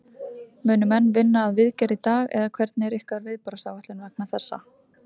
Munu menn vinna að viðgerð í dag eða hvernig er ykkar viðbragðsáætlun vegna þessa?